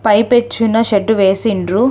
పై పెచ్చున షెడ్డు వేసిండ్రు.